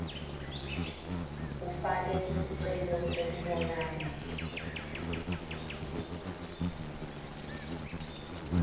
ufake sicelo sekubonana